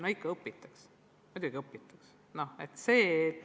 No ikka õpitakse, muidugi õpitakse!